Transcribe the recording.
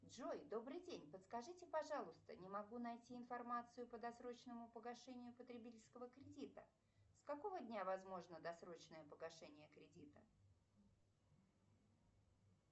джой добрый день подскажите пожалуйста не могу найти информацию по досрочному погашению потребительского кредита с какого дня возможно досрочное погашение кредита